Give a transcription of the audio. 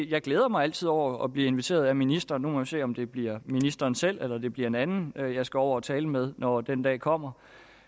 jeg glæder mig altid over at blive inviteret af ministeren nu må vi se om det bliver ministeren selv eller det bliver en anden jeg jeg skal over at tale med når den dag kommer